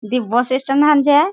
दी bus stand खान छे।